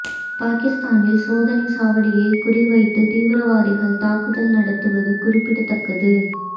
பாகிஸ்தானில் சோதனைச் சாவடியை குறிவைத்து தீவிரவாதிகள் தாக்குதல் நடத்துவது குறிப்பிடத்தக்கது